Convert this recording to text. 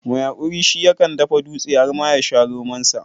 Mai haƙuri shi yakan dafa dutse har ma ya sha romansa.